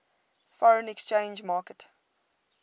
foreign exchange market